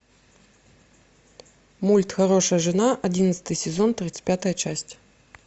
мульт хорошая жена одиннадцатый сезон тридцать пятая часть